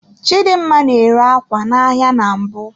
Chidimma na-ere ákwá n'ahịa na mbụ.